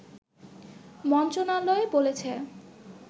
মন্ত্রণালয় বলেছে